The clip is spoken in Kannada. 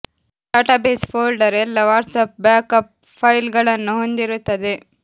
ಡಾಟಾಬೇಸ್ ಫೋಲ್ಡರ್ ಎಲ್ಲಾ WhatsApp backup file ಗಳನ್ನು ಹೊಂದಿರುತ್ತದೆ